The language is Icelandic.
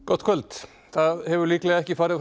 gott kvöld það hefur líklega ekki farið